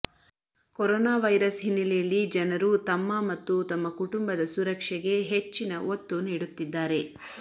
corona virus ಹಿನ್ನೆಲೆಯಲ್ಲಿ ಜನರು ತಮ್ಮ ಮತ್ತು ತಮ್ಮ ಕುಟುಂಬದ ಸುರಕ್ಷೆಗೆ ಹೆಚ್ಚಿನ ಒತ್ತು ನೀಡುತ್ತಿದ್ದಾರೆ